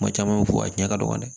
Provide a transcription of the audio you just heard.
Kuma caman u bɛ fɔ a tiɲɛ ka dɔgɔ dɛ